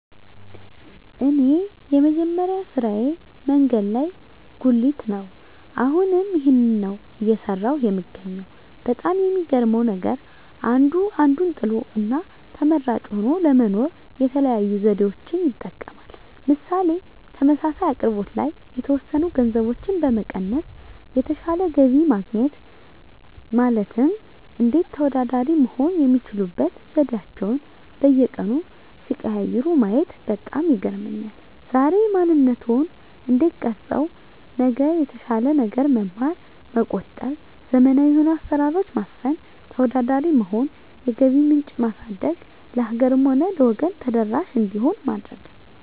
እኔ የመጀመሪያ ስራየ መንገድ ላይ ጉልት ነው አሁንም ይህንን ነው እየሰራሁ የምገኘው በጣም የሚገርመው ነገር አንዱ አንዱን ጥሎ እና ተመራጭ ሆኖ ለመኖር የተለያዩ ዘዴዎችን ይጠቀማል ምሳሌ ተመሳሳይ አቅርቦት ላይ የተወሰኑ ገንዘቦችን በመቀነስ የተሻለ ገቢ ለማግኘት ማለትም እንዴት ተወዳዳሪ መሆን የሚችሉበት ዘዴአቸዉን በየቀኑ ሲቀያይሩ ማየት በጣም ይገርመኛል ዛሬ ማንነትዎን እንዴት ቀረፀው ነገር የተሻለ ነገር መማር መቆጠብ ዘመናዊ የሆኑ አሰራሮች ማስፈን ተወዳዳሪ መሆን የገቢ ምንጭ ማሳደግ ለሀገርም ሆነ ለወገን ተደራሽ እንዲሆን ማድረግ